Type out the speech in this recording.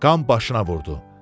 Qan başına vurdu.